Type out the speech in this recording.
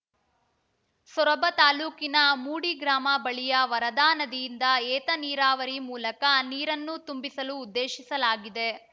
ಸೊರಬ ತಾಲೂಕಿನ ಮೂಡಿ ಗ್ರಾಮ ಬಳಿಯ ವರದಾ ನದಿಯಿಂದ ಏತ ನೀರಾವರಿ ಮೂಲಕ ನೀರನ್ನು ತುಂಬಿಸಲು ಉದ್ದೇಶಿಸಲಾಗಿದೆ